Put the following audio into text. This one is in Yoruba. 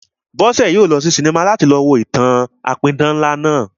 Bọ́sẹ̀ yóò lọ sí sinimá láti lọ wo ìtàn-an apidán ńlá náà